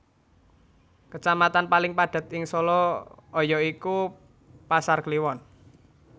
Kacamatan paling padhet ing Solo aya iku Pasar Kliwon